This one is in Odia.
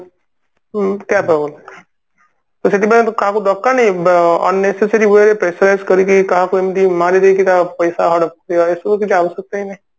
ତ ସେଥିପାଇଁ ତ କାହାକୁ ଦରକାର ନାହିଁ ବ unnecessary way ରେ pressure ରାଇଜ କରିକି କାହାକୁ ଏମତି ମାରିଦେଇ କି ତା ପଇସା ହଡପ କରିବା ଏସବୁ କିଛି ଆବଶ୍ୟକତା ହିଁ ନାଇଁ